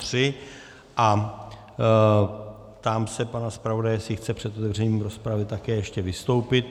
Ptám se pana zpravodaje, jestli chce před otevřením rozpravy také ještě vystoupit.